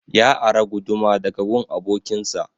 Ya ara guduma daga gun abokin sa